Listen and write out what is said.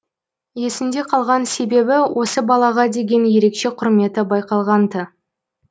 есінде қалған себебі осы балаға деген ерекше құрметі байқалған тын